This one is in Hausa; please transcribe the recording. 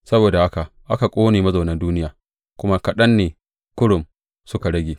Saboda haka aka ƙone mazaunan duniya, kuma kaɗan ne kurum suka rage.